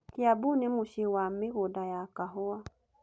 Kiambu nĩ mũciĩ wa mĩgũnda ya kahũa.